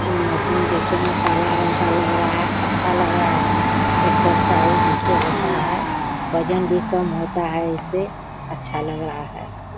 ए machine देखे में काला रंग का लग रहा है अच्छा लग रहा है। एक्सरसाइज इससे होता है वजन भी कम होता है इससे। अच्छा लग रहा है।